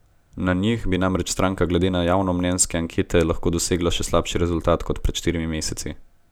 Na njih bi namreč stranka glede na javnomnenjske ankete lahko dosegla še slabši rezultat kot pred štirimi meseci.